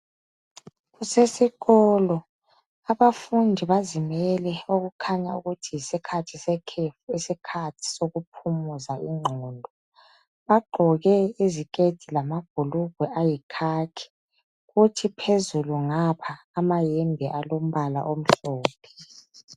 Kusesikolo abafundi bazimele okutshengisa ukuthi yisikhathi sekhefu isikhathi sokuphumuza ingqondo bagqoke iziketi labhugwe ayikhakhi kuthi phezulu ngapha amayembe alombala omhlophe